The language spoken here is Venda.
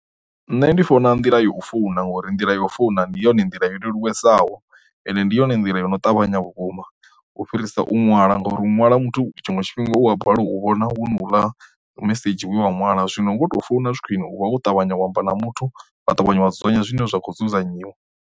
Nṋe ndi funa nḓila ya u founa ngori nḓila yo founa ndi yone nḓila leluwesaho, ende ndi yone nḓila yo no ṱavhanya vhukuma u fhirisa u ṅwala, ngauri u ṅwala muthu tshiṅwe tshifhinga u wa balelwa u vhona hu na u ḽa mesedzhi we we ṅwala zwino nga uto founa zwi khwine u vha kho ṱavhanya u amba na muthu vha ṱavhanya wa dzudzanya zwine zwa khou dzudzanyiwa.